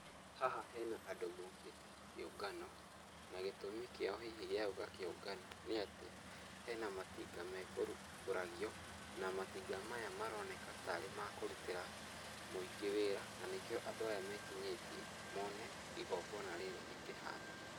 Haha hena andũ mokĩte kĩũngano, na gĩtũmi kĩao hihi gĩa gũka kĩũngano nĩ atĩ, hena matinga mekũrumbũragio, na matinga maya maroneka tarĩ makũrutĩra mũingĩ wĩra, na nĩkĩo andũ meekinyĩtie mone igongona rĩrĩ rĩkĩhanĩka.